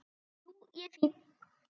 Jú, ég er fínn.